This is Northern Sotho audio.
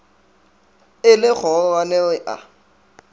e le kgororwane re a